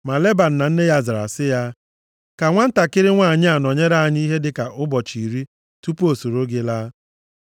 Ma Leban na nne ya zara sị ya, “Ka nwantakịrị nwanyị a nọnyere anyị ihe dịka ụbọchị iri tupu o soro gị laa.”